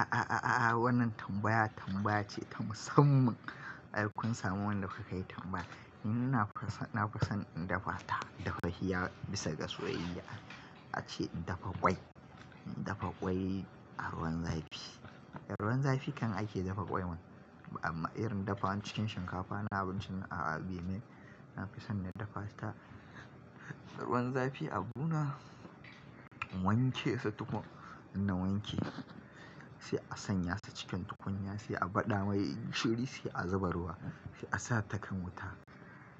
A'a, wannan tambaya tambaya ce ta musamman. Ai kun samu wanda ka kai tambaya. Ni na fi son in dafa ta, dafaffiya bisa ga soyayya. Ace in dafa ƙwai, in dafa ƙwai a ruwan zafi. A ruwan zafi kan ake dafa ƙwai man, amma irin dafa cikin shinkafa na abincin a'a bai yi mai. Na fi son na dafa ta a ruwan zafi. Abu na wanke shi tuƙuru, in na wanke shi sai a sanya shi cikin tukunya, sai a baɗa mai gishiri, sai a zuba ruwa, sai a sa ta kan wuta.